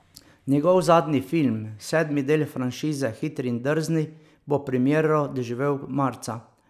Njegov zadnji film, sedmi del franšize Hitri in drzni, bo premiero doživel marca.